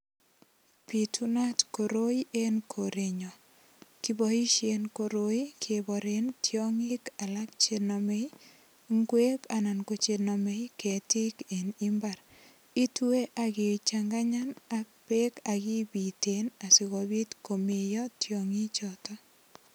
Bitunat koroi enkorenyun. Kiboisien koroi keboren toingik alak che nomei ingwek ana ko che nomei ketiik en imbar. Itue ak ichanganganyan ak ipiten ak beek asigopit komeiyo tiongichoto.